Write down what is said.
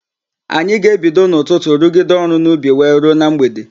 Anyị ga-ebido n'ụtụtụ rugide ọrụ n'ubi wee ruo na mgbede.